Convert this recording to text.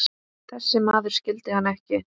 Þessi maður skildi hann ekki.